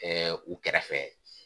Ɛɛ u kɛrɛfɛ